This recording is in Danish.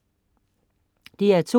DR2: